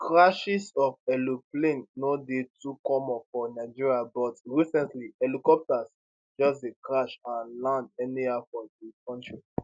crashes of aeroplane no dey too common for nigeria but recently helicopters just dey crash and land anyhow for di kontri